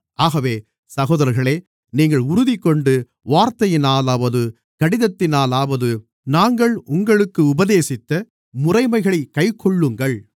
ஆகவே சகோதரர்களே நீங்கள் உறுதிகொண்டு வார்த்தையினாலாவது கடிதத்தினாலாவது நாங்கள் உங்களுக்கு உபதேசித்த முறைமைகளைக் கைக்கொள்ளுங்கள்